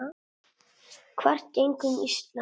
þvert gegnum Ísland.